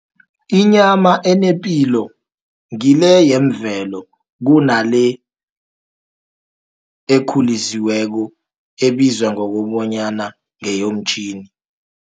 Inyama enepilo ngile yemvelo, kunale ekhulisiweko, ebizwa ngokobanyana ngeyomtjhini.